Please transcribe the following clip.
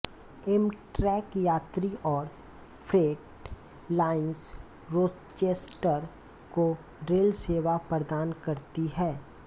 Amtrak यात्री और freight lines Rochester को रेल सेवा प्रदान करती हैं